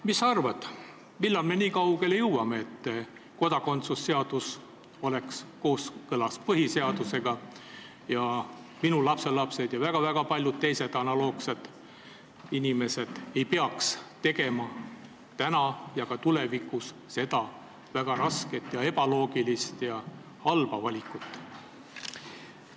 Mis sa arvad, millal me nii kaugele jõuame, et kodakondsuse seadus on kooskõlas põhiseadusega ja minu lapselapsed ja väga paljud teised analoogilises olukorras olevad inimesed ei pea tegema seda väga rasket ja ebaloogilist ja halba valikut?